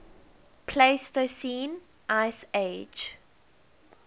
pleistocene ice age